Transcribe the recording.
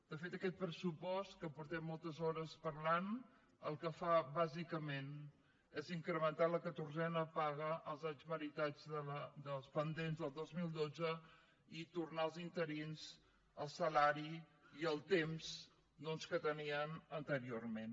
de fet aquest pressupost que fa moltes hores que parlem el que fa bàsicament és incrementar la catorzena paga als anys meritats dels pendents del dos mil dotze i tornar als interins el salari i el temps doncs que tenien anteriorment